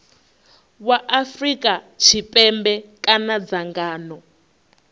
wa afrika tshipembe kana dzangano